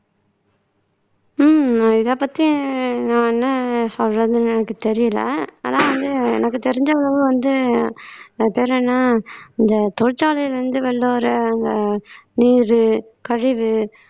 உம் இதைப்பத்தியும் நான் என்ன சொல்றதுன்னு எனக்கு தெரியலே ஆனா வந்து எனக்கு தெரிஞ்ச அளவு வந்து அது பேர் என்ன இந்த தொழிற்சாலையில இருந்து வந்த நீரு கழிவு